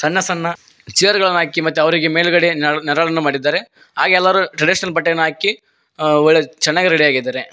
ಸಣ್ಣ ಸಣ್ಣ ಚೇರ್ ಗಳನ ಹಾಕಿ ಅವರಿಗಿ ಮೇಲ್ಗಡೆ ನೇರ ನೆರಳನ್ನ ಮಾಡಿದ್ದಾರೆ ಹಾಗೆ ಎಲ್ಲಾರು ಟ್ರಡಿಷನಲ್ ಬಟ್ಟೆಯನ್ನ ಹಾಕಿ ಅ ಒಳ್ಳೆ ಚೆನ್ನಾಗಿ ರೆಡಿ ಆಗಿದ್ದಾರೆ.